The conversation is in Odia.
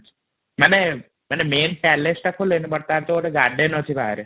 ମାନେ ମାଇଁ ପ୍ଯାଲେସ ଟା ଖୋଲୟେଣୀ ବଟ ତାର ଯୋଉ ଗାର୍ଡନ୍ ଅଛି ବାହା|ରେ